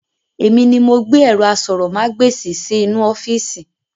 Èmi ni mo gbé ẹ̀rọ aṣórómagbesìn sì inú ọ́fíìsì